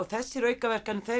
þessar aukaverkanir